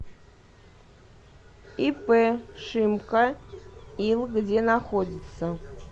ип шимко ил где находится